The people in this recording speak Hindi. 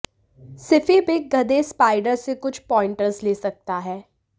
सिफी बिग गधे स्पाइडर से कुछ पॉइंटर्स ले सकता है